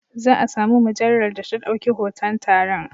Za a sami mujallar da ta ɗauki hoton taron.